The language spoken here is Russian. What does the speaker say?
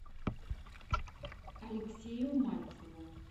алексею мальцеву